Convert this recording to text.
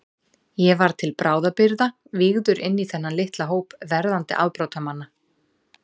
Ég var til bráðabirgða vígður inní þennan litla hóp verðandi afbrotamanna.